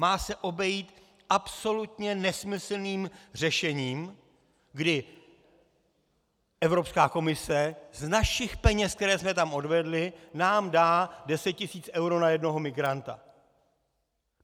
Má se obejít absolutně nesmyslným řešením, kdy Evropská komise z našich peněz, které jsme tam odvedli, nám dá 10 tis. eur na jednoho migranta...